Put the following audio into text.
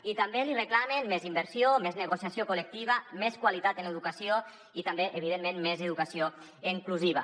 i també li reclamen més inversió més negociació col·lectiva més qualitat en l’educació i també evidentment més educació inclusiva